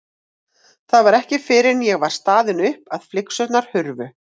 Það var ekki fyrr en ég var staðin upp að flygsurnar hurfu.